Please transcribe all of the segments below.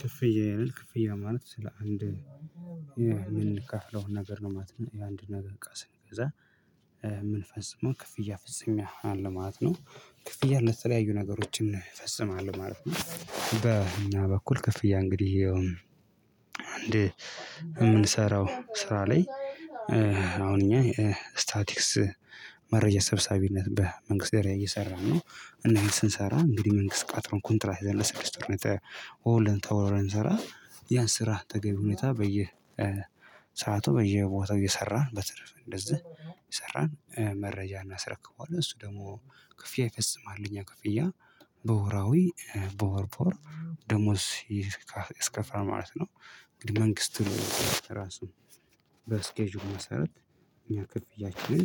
ክፍያ ይላል ክፍያ ማለት ስለ አንድ የምንከፍለውን ነገር ነው ማለት ነው የአንድ ነገር እቃ ስንገዛ ምንፈጽመው ክፍያ ፈጽሞ አለ ማለት ነው። ክፍያ ለተለያዩ ነገሮችን እፈፅማለሁ ማለት ነው። በእኛ በኩል ክፍያ እንግዲህ እንድ የምንሰራው ስራ ላይ አሁን እኛ ስታቲክስ መረጃ ሰብሳቢነት በመንግስት ደረጃ እየሰራን ነው። እና ይሄን ስንሰራ እንግዲህ መንግስት ቀጥሮን ኮንትራት ይዘን ለስድስት ኦርነት ተወርን ስራ ያን ስራ ተገቢ ሁኔታ በየ ሰዓቱ በየቦታው እየሰራን በትርፍ እንደዚህ እየሰራን መረጃ እናስረክበዋለን እሱ ደግሞ ክፍያ ይፈፅማል ለእኛ ክፍያ በወራዊ በወርበወር ደሞዝ ይከፍላል ማለት ነው። እንግዲህ መንግስቱን ራሱ በስኬጁል መሰረት እኛ ክፍያችንን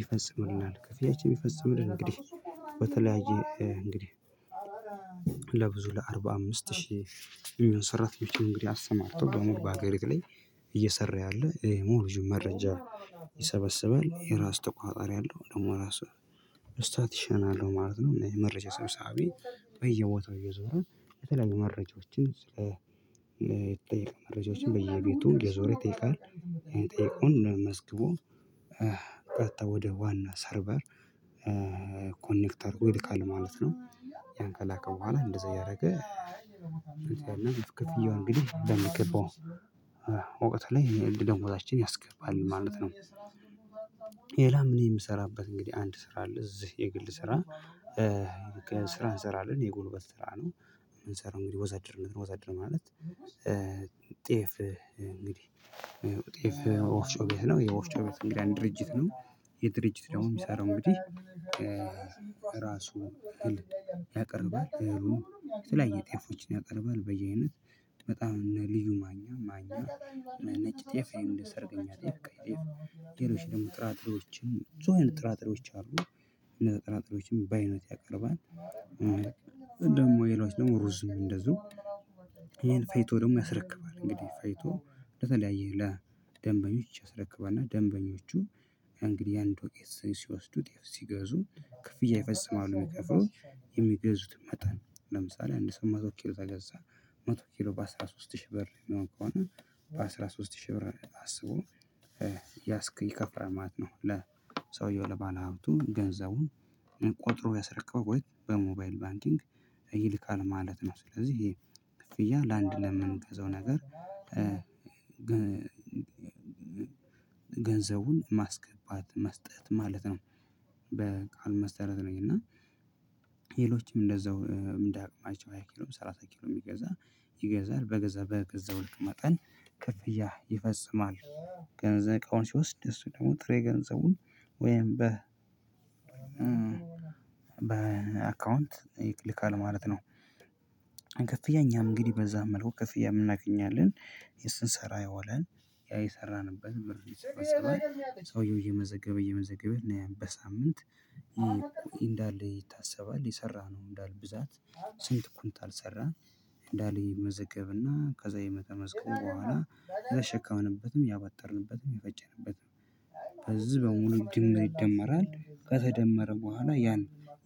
ይፈጽምልናል ክፍያችን ይፈጽምልን። እንግዲህ በተለያየ እንግዲህ ለብዙ ለአርባ አምስት ሺህ ሰራተኞችን እንግዲህ አስማርቶ በሙሉ በሀገሪቱ ላይ እየሰራ ያለ ይሄ ሙሉ ልጁን መረጃ ይሰበስባል የራሱ ተቋቋሪ አለው ደግሞ ራሱ ስታቲሽን አለው ማለት ነው። እነዚህ መረጃ ሰብሳቢ በየቦታው እየዞረ የተለያዩ መረጃዎችን ስለ የተጠየቀ መረጃዎችን በየቤቱ እየዞረ ይጠይቃል ጥያቄውን መዝግቦ ቀጥታ ወደ ዋና ሰርቨር ኮኔክተር ይልካል ማለት ነው። ያን ከላከ በኋላ እንደዛ እያደረገ እንደዚህ እንግዲህ በሚገባው እውቀት ላይ እንደ ደሞዛችን ያስገባል ማለት ነው። ሌላም እኔ የምሰራበት እንግዲህ አንድ ስራ አለ እዚህ የግል ስራ ስራ እንሰራለን የጎልበት ስራ ነው። የምንሰራው እንግዲህ ወዛድርነት ነው ወዛድር ማለት ጤፍ እንግዲህ ጤፍ ወፍጮ ቤት ነው የወፍጮ ቤት እንግዲህ አንድ ድርጅት ነው። የድርጅት ደግሞ የሚሰራው እንግዲህ ራሱ ያቀርባል የተለያየ ጤፎችን ያቀርባል በየአይነት በጣም እነ ልዩ ማኛ ማኛ ነጭ ጤፍ እንደ ሰርገኛ ጤፍ ቀይ ጤፍ ሌሎች ደግሞ ጥራጥሬዎችን ብዙ አይነት ጥራጥሬዎች አሉ እነዛ ጥራጥሬዎችን በአይነት ያቀርባል። ደግሞ የሌሎች ደግሞ ሩዝም እንደዚሁ ይሄን ፈጭቶ ደግሞ ያስረክባል እንግዲህ ፈይቶ በተለያየ ለደንበኞች ያስረክባል። እና ደንበኞቹ እንግዲህ የአንድ ወቄት ሲወስዱት ሲገዙ ክፍያ የፈፅማሉ የሚከፋለው የሚገዙትን መጠን ለምሳሌ አንድ ሰው መቶ ኪሎ ከገዛ መቶ ኪሎ በአሥራ ሶስት ሺህ ብር ነው ከሆነ በአሥራ ሶስት ሺህ ብር አስቦ ያስክ ይከፍላል ማለት ነው ለሰውየው ለባለሃብቱ ገንዘቡን ቆጥሮ ያስረቀበው በሞባይል ባንኪንግ ይልካል ማለት ነው። ስለዚህ ይሄ ክፍያ ለአንድ ለምንገዛው ነገር ገንዘቡን ማስገባት መስጠት ማለት ነው። በቃል መሰረት ነኝ እና ሌሎችም እንደዛው ምን እንደአቅማቸው ሃያ ኪሎም ሰላሳ ኪሎም ይገዛል በገዛ በገዛው ልክ መጠን ክፍያ ይፈጽማል። ገንዘብ እቃውን ሲወስድ እሱ ደግሞ ጥሬ ገንዘቡን ወይም በ በአካውንት ይክልካል ማለት ነው። ከፍያ እኛም እንግዲህ በዛ መልኩ ከፍያም እናገኛለን የስንሰራ የዋልን ያ የሰራንበት ብር ይሰበሰባል ሰውየው እየመዘገበ እየመዘገበ እና ያን በሳምንት እንዳለ ይታሰባል የሰራነው እንዳለ ብዛት ስንት ኩንታል ሰራን እንዳለ ይመዘገብና ከዛ የመተዘገበ በኋላ የተሸከምንበትም ያባጠርንበትም የፈጨንበትም በዚህ በሙሉ ድምር ይደመራል። ከተደመረ በኋላ ያን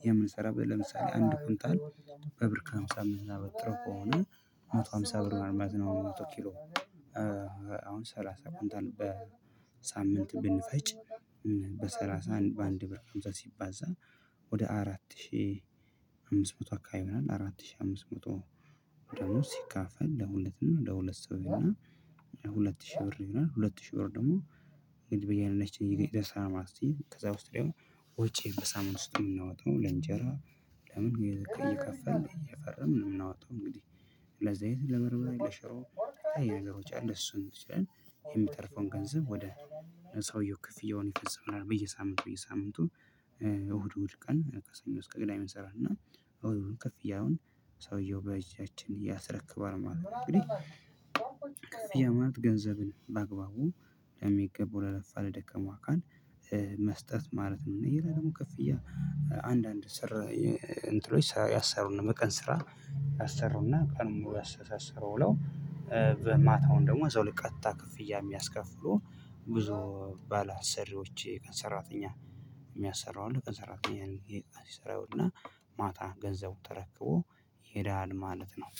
የምንሰራው ለምሳሌ አንድ ኩንታል በብር ከሃምሳ የምናበጥረው ከሆነ መቶ ሃምሳ ብር ነው ማለት ነው። መቶ ኪሎ አሁን ሰላሳ ኩንታል በሳምንት ብንፈጭ በሰላሳ አንድ በአንድ ብር ከአምሳ ሲባዛ ወደ አራት ሺህ አምስት መቶ አካባቢ ይሆኗል አራት ሺህ አምስት መቶ ደሞዝ ሲካፈል ለሁለት ነው ለሁለት ሰው እና ሁለት ሺህ ብር ይሆናል። ሁለት ሺህ ብር ደግሞ ግን በእያንዳችን የገዢደስ አማርቲ ከዛ ውስጥ ላይ ወጪ በሳምንት ውስጥ የምናወጣው ለእንጀራ ለምን እየከፈልን እየፈረምን እምናወጣው እንግዲህ ለዚህ አይነት ለበርበሬ ለሽሮ ለተለያዩ ነገሮች አሉ እሱን ይቻላል። የሚተርፈውን ገንዘብ ወደ ሰውየው ክፍያውን ይፈፅምልናል በየሳምንቱ በየሳምንቱ እሁድ እሁድ ቀን ከሰኞ እስከ ቅዳሜ እንሰራና እና እሁድ እንከፍያውን ሰውየው በእጃችን ያስረክባል ማለት ነው። እንግዲህ ክፍያ ማለት ገንዘብን በአግባቡ ለሚገቡ ለለፋ ለደከሙ አካል መስጠት ማለት ነው። እና ሌላ ደግሞ ከፍያ አንዳንድ ስራ እንትኖች ሰው ያሰሩን ነው። የቀን ስራ ያሰሩና ቀኑን ሙሉ ያሰሰረው ውለው በማታውን ደግሞ እዛው ለቀጥታ ክፍያ የሚያስከፍሉ ብዙ ባለአሰሪዎች የቀን ሰራተኛ የሚያሰራው አለ ቀን ሰራተኛ ይሰራውና ማታ ገንዘቡን ተረክቦ ይሄዳል ማለት ነው።